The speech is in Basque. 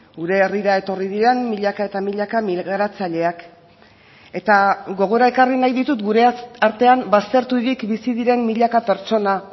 gure herrira etorri diren milaka eta milaka migratzaileak eta gogora ekarri nahi ditut gure artean bazterturik bizi diren milaka pertsona